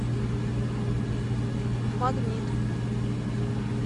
магнит